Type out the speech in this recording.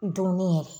Dunni yɛrɛ